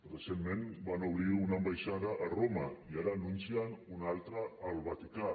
recentment van obrir una ambaixada a roma i ara n’anuncien una altra al vaticà